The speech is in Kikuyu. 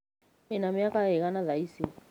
Wĩ na mĩaka ĩigana thaa icĩ?